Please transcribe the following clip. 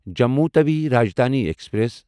Jammu Tawi Rajdhani express